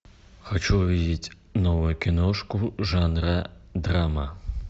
хочу увидеть новую киношку жанра драма